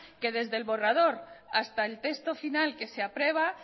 que desde el borrador hasta el texto final que se aprueba